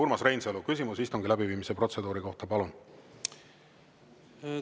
Urmas Reinsalu, küsimus istungi läbiviimise protseduuri kohta, palun!